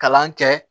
Kalan kɛ